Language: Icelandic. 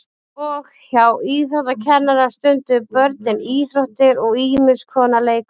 Og hjá íþróttakennara stunduðu börnin íþróttir og ýmis konar leikfimi.